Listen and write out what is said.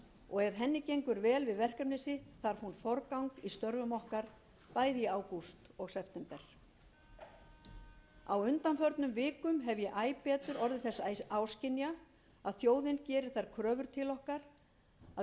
og ef henni gengur vel við verkefni sitt þarf hún forgang í störfum okkar bæði í ágúst og september á undanförnum vikum hef ég æ betur orðið þess áskynja að þjóðin gerir þær kröfur til okkar að